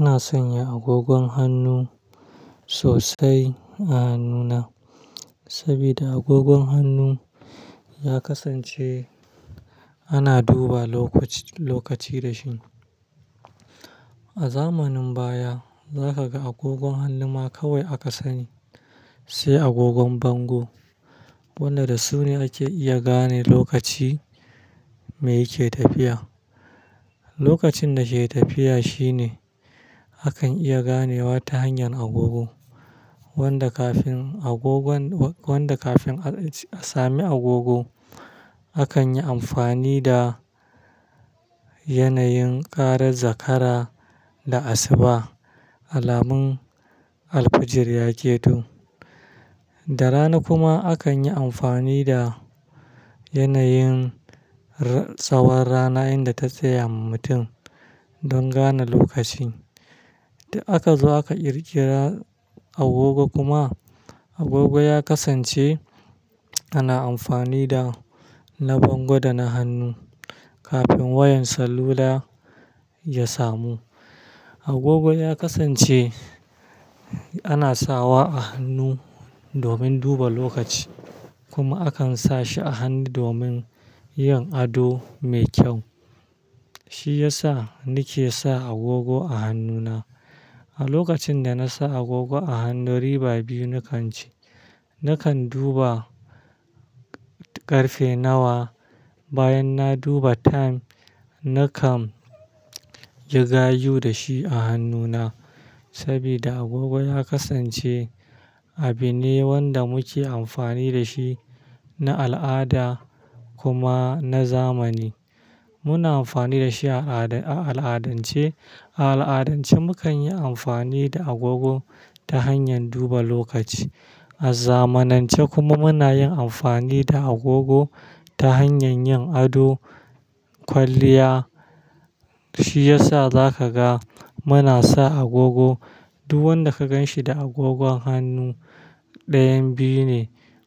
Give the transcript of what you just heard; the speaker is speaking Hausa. Ina sanya agogon hannu sosai a hannuna sabida agogon hannu ya kasance ana duba lokaci da shi. A zamanin baya, za ka ga agogon hannu ma kawai aka sani, sai agogon bango, wanda da su ne ake iya gane lokaci me yake tafiya. Lokacin da ke tafiya shi ne akan iya ganewa ta hanyar agogo. Wanda kafin a sami agogo, akan yi amfani da yanayin ƙarar zakara da asuba, alamun alfijir ya keto. Da rana kuma akan yi amfani da yanayin tsawon rana inda ta tsaya ma mutum don gane lokaci. Da aka zo aka ƙirƙira agogo kuma agogo ya kasance ana amfani da na bango da na hannu. Kafin wayan salula ya samu, agogo ya kasance ana sawa a hannu domin duba lokaci kuma akan sa shi a hannu domin yin ado mai kyau. Shi ya sa ni ke sa agogo a hannuna. A lokacin da na sa agogo a hannu riba biyu nakan ci. Nakan duba ƙarfe nawa. Bayan na duba time, nakan yi gayu da shi a hannuna saboda agogo ya kasance abin ne wanda muke amfani da shi na al'ada kuma na zamani. Muna amfani da shi a al'adance. A al'adance, mukan yi amfani da agogo ta hanyar duba lokaci. A zamanance kuma muna yin amfani da agogo ta hanyar yin ado, kwalliya. Shi ya sa za ka ga muna sa agogo. Duk wanda ka gan shi da agogon hannu ɗayan biyu ne,